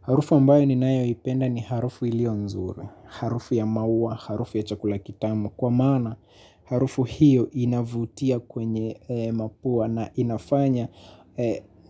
Harufu ambayo ni nayo ipenda ni harufu ilio mzuri, harufu ya maua, harufu ya chakula kitamu. Kwa maana harufu hiyo inavutia kwenye mapua na inafanya